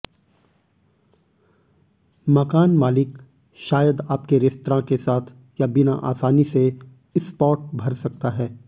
मकान मालिक शायद आपके रेस्तरां के साथ या बिना आसानी से स्पॉट भर सकता है